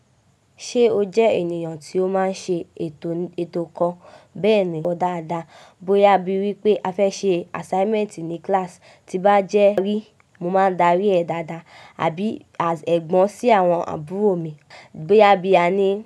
Ṣé o jẹ ènìyàn tí ó máa ń ṣe ètò kan bẹ́ẹ̀ni dáadáa. Bóyá bí wípé a fẹ́ ṣe assignment ní class, tí n bá jẹ́ rí mo máa dárí ẹ dáadáa àbí as ẹ̀gbọ́n sí àwọn àbúrò mi, bóyá bí a ní.